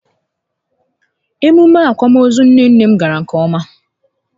Mmemme akwamozu nne nne m gara nke ọma